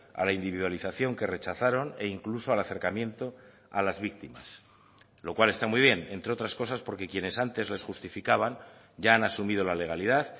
a la individualización que rechazaron e incluso al acercamiento a las víctimas lo cual está muy bien entre otras cosas porque quienes antes les justificaban ya han asumido la legalidad